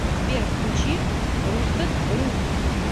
сбер включи рустед рут